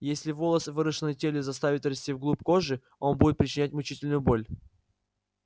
если волос выросший на теле заставить расти в глубь кожи он будет причинять мучительную боль